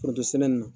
Forontosɛnɛ na